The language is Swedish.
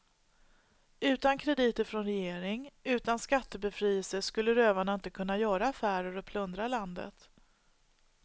Utan krediter från regering, utan skattebefrielse skulle rövarna inte kunna göra affärer och plundra landet.